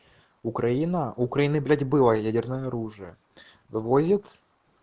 украина украины блять было ядерное оружие вывозит